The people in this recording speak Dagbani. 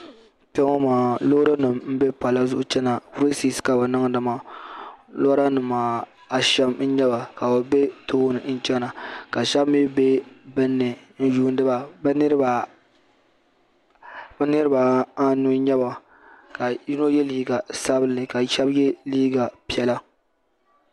Kpɛŋɔ maa loori nima m be pala zuɣu n chena resis ka bɛ niŋdi maa lora nima ashem n nyɛ ba ka bɛ be tooni n chena ka sheba mee be gbini n yuuni ba bɛ niriba anu n nyɛba ka yino ye liiga sabinli ka sheba ye liiga piɛla.